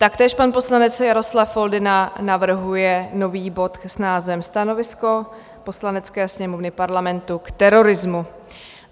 Taktéž pan poslanec Jaroslav Foldyna navrhuje nový bod s názvem Stanovisko Poslanecké sněmovny Parlamentu k terorismu.